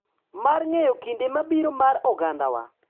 Mar ng’eyo kinde mabiro mar ogandawa.